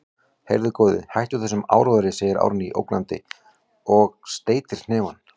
Heyrðu, góði, hættu þessum áróðri, segir Árný ógnandi og steytir hnefann.